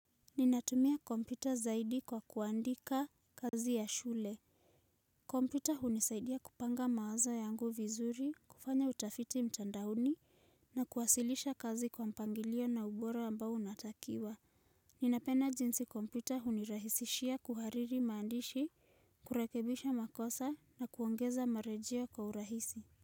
Ninatumia kompyuta zaidi kwa kuandika kazi ya shule kompyuta hunisaidia kupanga mawazo yangu vizuri, kufanya utafiti mtandaoni na kuwasilisha kazi kwa mpangilio na ubora ambao unatakiwa Ninapeana jinsi kompyuta hunirahisishia kuhariri maandishi, kurekebisha makosa na kuongeza marejeo kwa urahisi.